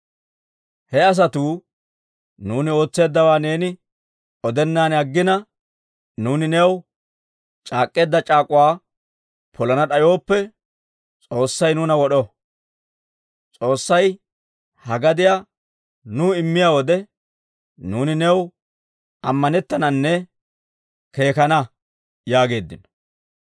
He asatuu, «Nuuni ootseeddawaa neeni odennan aggina, nuuni new c'aak'k'eedda c'aak'uwaa polana d'ayooppe, S'oossay nuuna wod'o! S'oossay ha gadiyaa nuw immiyaa wode, nuuni new ammanettananne keekana» yaageeddino.